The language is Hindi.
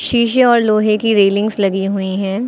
शीशे और लोहे की रैलिंग्स लगी हुई हैं।